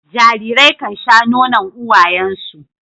Jarirai kan sha nonon uwayen su.